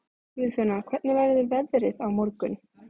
Guðfinna, hvernig verður veðrið á morgun?